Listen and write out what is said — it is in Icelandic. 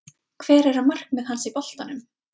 Hver eru markmið hans boltanum?